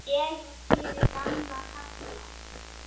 Ég er fyrir gamla kalla.